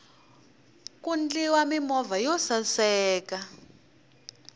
ku ndliwa mimovha yo saseka